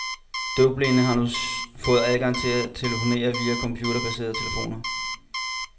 Døvblinde har nu fået adgang til at telefonere via computerbaserede telefoner.